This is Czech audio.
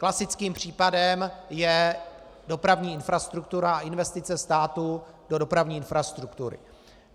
Klasickým případem je dopravní infrastruktura a investice státu do dopravní infrastruktury.